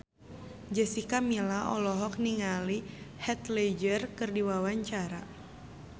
Jessica Milla olohok ningali Heath Ledger keur diwawancara